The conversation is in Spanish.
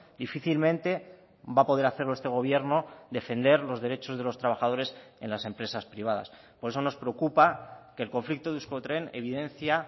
difícilmente va a poder hacerlo este gobierno defender los derechos de los trabajadores en las empresas privadas por eso nos preocupa que el conflicto de euskotren evidencia